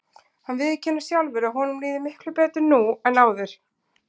Hann viðurkennir sjálfur að honum líði miklu betur nú en áður.